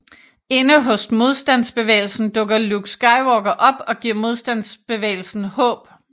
Inde hos Modstandsbevægelsen dukker Luke Skywalker op og giver Modstandsbevægelsen håb